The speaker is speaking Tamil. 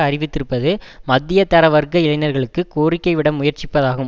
அறிவித்திருப்பது மத்திய தர வர்க்க இளைஞர்களுக்கு கோரிக்கை விட முயற்சிப்பதாகும்